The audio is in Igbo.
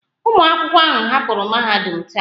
Ụmụ akwụkwọ ahụ hapụrụ mahadum taa